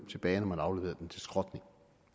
tilbage når man afleverede den til skrotning